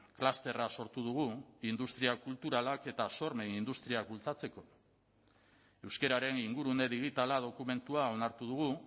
klusterra sortu dugu industria kulturalak eta sormen industria bultzatzeko euskararen ingurune digitala dokumentua onartu dugu